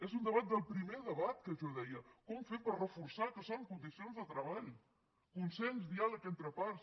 és un debat del primer debat que jo deia com fer per reforçar que són condicions de treball consens diàleg entre parts